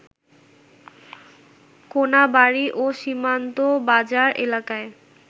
কোনাবাড়ী ও সীমান্ত বাজার এলাকায়